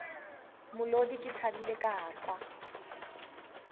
molodi ke thabile ka kwa